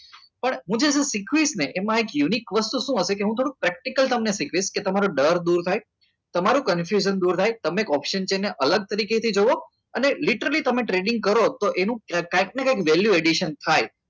પણ હું જય એમાં એક unique વસ્તુ શું હશે કે practical તમને શીખવીશ કે તમારો ડર દૂર થાય તમારું confusion દૂર થાય તમે option જોઈને અલગ તરીકેથી જુઓ અને literally તમે ટ્રેનિંગ કરો તો તેમાં કંઈક ને કંઈક addition થાય